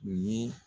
Nin ye